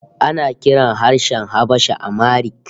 Ana kiran harshen Habasha Amharic